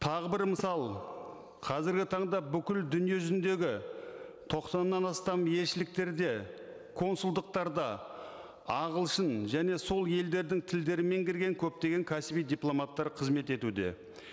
тағы бір мысал қазіргі таңда бүкіл дүние жүзіндегі тоқсаннан астам елшіліктерде консулдықтарда ағылшын және сол елдердің тілдерін меңгерген көптеген кәсіби дипломаттар қызмет етуде